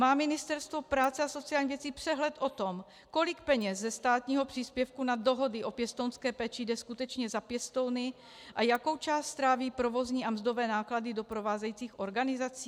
Má Ministerstvo práce a sociálních věcí přehled o tom, kolik peněz ze státního příspěvku na dohody o pěstounské péči jde skutečně za pěstouny a jakou část stráví provozní a mzdové náklady doprovázejících organizací?